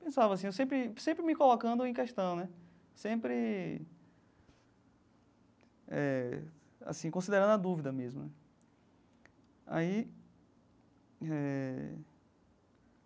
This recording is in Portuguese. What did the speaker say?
Pensava assim, eu sempre sempre me colocando em questão né, sempre eh assim considerando a dúvida mesmo né aí eh.